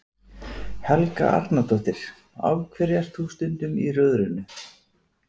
Helga Arnardóttir: Af hverju ert þú stundum í Rjóðrinu?